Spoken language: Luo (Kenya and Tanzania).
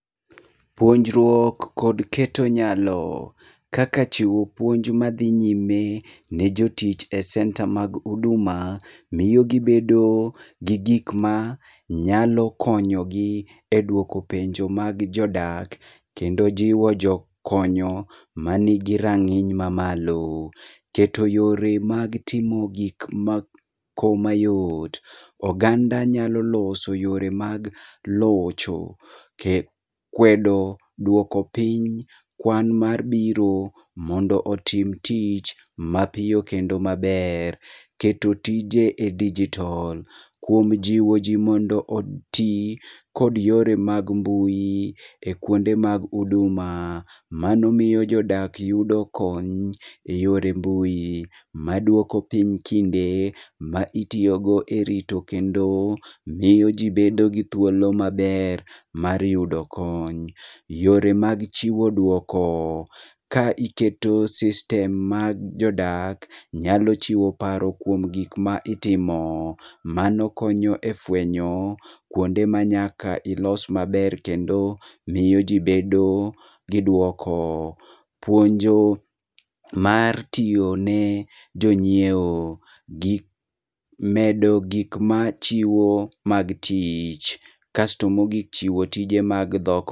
Puonjruok kod keto nyalo: kaka chiwo puonj madhi nyime ne jotich e senta mag huduma, miyo miyo gibedo gi gikma nyalo konyogi e dwoko penjo mag jodak. Kendo jiwo jokonyo manigi rang'iny mamalo. Keto yore mag timo gik moko mayot: oganda nyalo loso yore mag locho. Kwedo dwoko piny kwan mar biro, mondo otim tich mapiyo kendo maber. Keto tije e dijotol, kuom jiwo ji mondo oti kod yore mag mbui e kuonde mag huduma. Mano miyo jodak yudo kony e yore mbui, madwoko piny kinde ma itiyogo e rito kendo miyo ji bedo gi thuolo maber mar yudo kony. Yore mag chiwo dwoko: ka iketo sistem mag jodak, nyalo chiwo paro kuom gik ma itimo. Mano konyo e fwenyo kuonde ma nyaka ilos maber kendo miyo ji bedo gi dwoko. Puonjo mar tiyo ne jonyiewo: medo gik ma chiwo mag tich. Kasto mogik chiwo tije mag dhok.